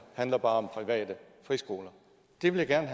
handler bare om private friskoler det vil jeg